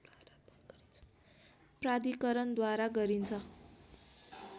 प्राधिकरणद्वारा गरिन्छ